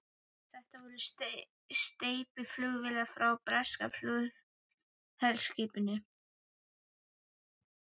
Þetta voru steypiflugvélar frá breska flugvélaskipinu